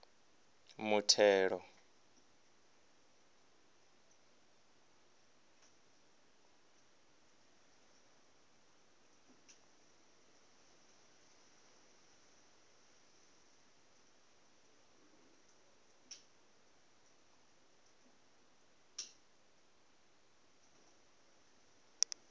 muthelo